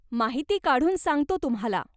माहिती काढून सांगतो तुम्हाला.